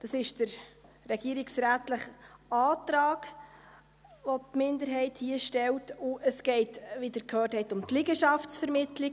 Es ist der regierungsrätliche Antrag, den die Minderheit hier stellt, und es geht, wie Sie gehört haben, um die Liegenschaftsvermittlung.